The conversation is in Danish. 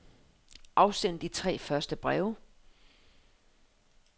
Afsend de tre første breve.